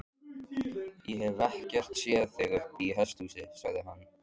Ég hef ekkert séð þig uppi í hesthúsi, sagði hann.